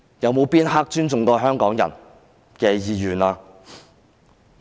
有哪一刻是尊重香港人意願的？